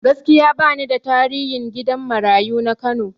Gaskiya bani da tarihin gidan marayu na Kano